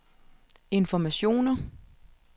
informationer